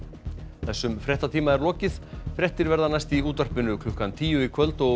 þessum fréttatíma er lokið fréttir verða næst í útvarpi klukkan tíu í kvöld og